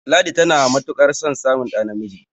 ladi tana matuƙ ar son samun ɗa namiji